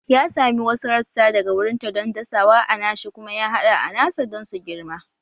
Ya sami wasu rassa daga wurinta don dasawa a nashi kuma ya haɗa a nasa don su girma